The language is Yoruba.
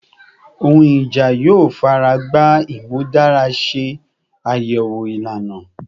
Ohun ija yoo faragba imudara se ayewo ilana